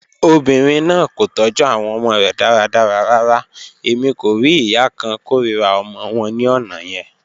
Obinrin naa ko tọju awọn ọmọ rẹ daradara rara, Emi ko rii iya kan korira ọmọ wọn ni ọna yẹn.